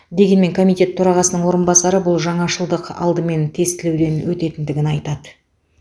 дегенмен комитет төрағасының орынбасары бұл жаңашылдық алдымен тестілеуден өтетіндігін айтады